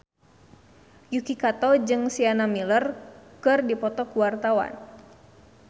Yuki Kato jeung Sienna Miller keur dipoto ku wartawan